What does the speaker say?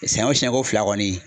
Sɛɲɛn o siɲɛn ko fila kɔni